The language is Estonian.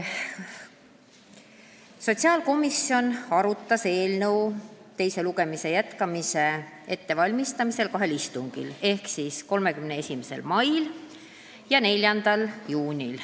Sotsiaalkomisjon arutas eelnõu teise lugemise jätkamise ettevalmistamiseks kahel istungil: 31. mail ja 4. juunil.